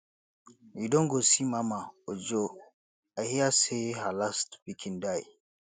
you don go see mama ojo i hear say her last pikin die